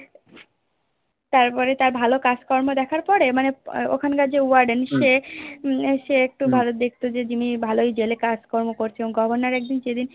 তারপরে তার ভালো কাজকর্ম দেখার পরে মানে ওখানকার যে Warden সে উম সে একটু ভালো দেখতো যে জিম্মি ভালোই জেলে কাজকর্ম করছে এবং Governor একদিন যেদিন